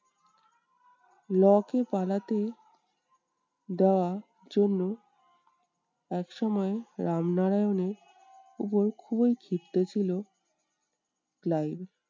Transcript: লকে পালাতে দেওয়ার জন্য একসময় রামনারায়ানের উপর খুবই ক্ষিপ্ত ছিল ক্লাইভ।